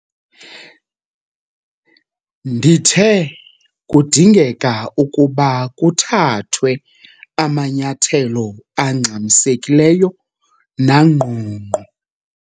Ndithe kudingeka ukuba kuthathwe amanyathelo angxamisekileyo nangqongqo.